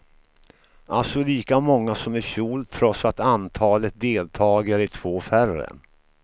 Alltså lika många som i fjol, trots att antalet deltagare är två färre.